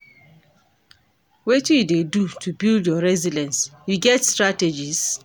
Wetin you dey do to build your resilience, you get strategies?